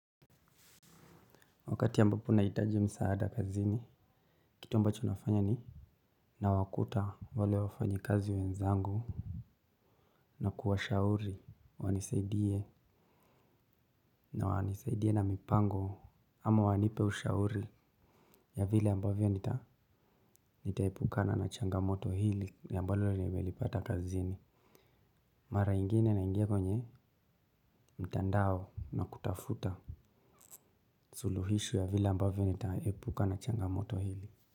Wakati ambapo naitaji msaada kazini kitu ambacho nafanya ni na wakuta wale wafanyi kazi wenzangu na kuwashauri wanisaidie na wanisaidie na mipango ama wanipe ushauri ya vile ambavyo nitaepukana na changamoto hili ambalo nimelipata kazini mara ingine na ingia kwenye mtandao na kutafuta suluhisho ya vile ambavyo nitaepukana na changamoto hili.